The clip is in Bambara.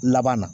Laban na